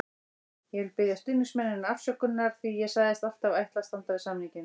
Ég vil biðja stuðningsmennina afsökunar því ég sagðist alltaf ætla að standa við samninginn.